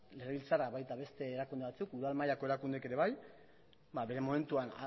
legebiltzarra baita beste erakunde batzuk udal mailako erakundek ere bai bere momentuan